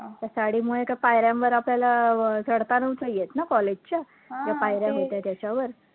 त्या साडीमुळे त्या पायऱ्यांवर आपल्याला अं चढता नव्हतं येतं ना college च्या ज्या पायऱ्या होत्या त्याच्यावर